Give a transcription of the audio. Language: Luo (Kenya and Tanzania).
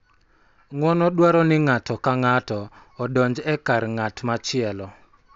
Ng�uono dwaro ni ng�ato ka ng�ato odonj e kar ng�at machielo,